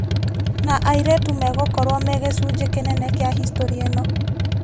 Na airĩtu megokorwo megĩcunjĩ kĩnene kĩa historĩ ĩno